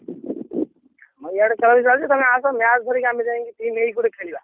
ଆମ ଆଡେ ଖେଳ ବି ଚାଲିଛି ତମେ ଆସ match ଧରିକି ଆମେ ଯାଇକି team ହେଇକି ଗୋଟେ ଖେଳିବା।